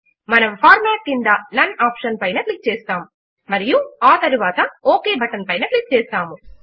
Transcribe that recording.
మనము ఫార్మాట్ క్రింద none option పైన క్లిక్ చేస్తాము మరియు ఆ తరువాత ఒక్ బటన్ పైన క్లిక్ చేస్తాము